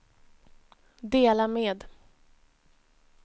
dela med